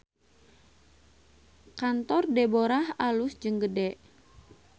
Kantor Deborah alus jeung gede